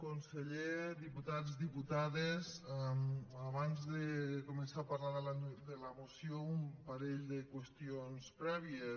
conseller diputats diputades abans de començar a parlar de la moció un parell de qüestions prèvies